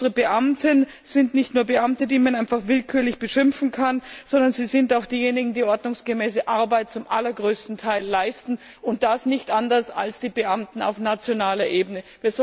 Denn unsere Beamten sind nicht nur Beamte, die man einfach willkürlich beschimpfen kann, sondern sie sind auch diejenigen, die zum allergrößten Teil ordnungsgemäße Arbeit leisten, und das nicht anders als die Beamten auf nationaler Ebene.